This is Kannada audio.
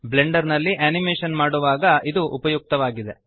ಬ್ಲೆಂಡರ್ ನಲ್ಲಿ ಅನಿಮೇಶನ್ ಮಾಡುವಾಗ ಇದು ಉಪಯುಕ್ತವಾಗಿದೆ